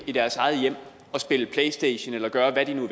i deres eget hjem og spille playstation eller gøre hvad de nu